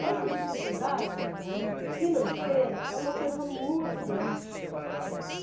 E essa dificuldade financeira é uma coisa muito grande.